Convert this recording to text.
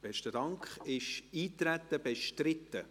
Ist das Eintreten bestritten?